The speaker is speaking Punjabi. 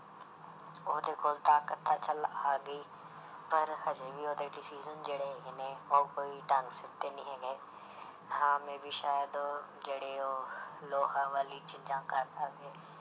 ਉਹਦੇ ਕੋਲ ਤਾਕਤ ਤਾਂ ਚੱਲ ਆ ਗਈ ਪਰ ਹਜੇ ਵੀ ਉਹਦੇ decision ਜਿਹੜੇ ਹੈਗੇ ਨੇ ਉਹ ਕੋਈ ਢੰਗ ਸਿਰ ਦੇ ਨਹੀਂ ਹੈਗੇ ਹਾਂ may be ਸ਼ਾਇਦ ਜਿਹੜੇ ਉਹ ਲੋਹਾ ਵਾਲੀ ਚੀਜ਼ਾਂ ਕਰਦਾ ਵੇ